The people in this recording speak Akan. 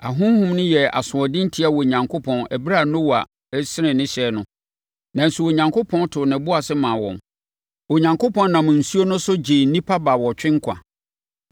Ahonhom yi yɛɛ asoɔden tiaa Onyankopɔn ɛberɛ a Noa resene ne hyɛn no, nanso Onyankopɔn too ne bo ase maa wɔn. Onyankopɔn nam nsuo no so gyee nnipa baawɔtwe nkwa.